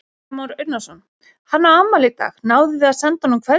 Kristján Már Unnarsson: Hann á afmæli í dag, náðuð þið að senda honum kveðju?